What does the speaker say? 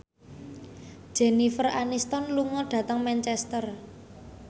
Jennifer Aniston lunga dhateng Manchester